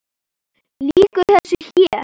Lýkur þessu hér?